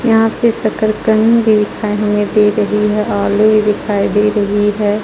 यहाँ पे शकरगंद दिखाई दे रही है और दिखाई दे रही है।